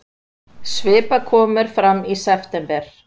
Skipakomur fram í september